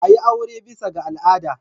A yi aure bisa ga al'ada.